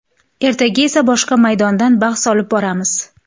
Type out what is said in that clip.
Ertaga esa boshqa maydonda bahs olib boramiz.